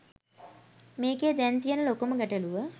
මේකේ දැන් තියෙන ලොකුම ගැටළුව